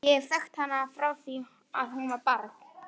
Ég hef þekkt hana frá því að hún var barn.